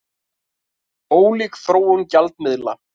Ólík þróun gjaldmiðla